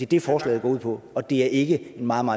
dét forslaget går ud på og det er ikke en meget